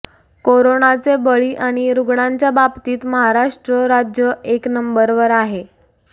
कोरोनाचे बळी आणि रुग्णांच्याबाबतीत महाराष्ट्र राज्य एक नंबर वर आहे